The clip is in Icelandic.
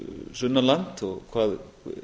sunnan land og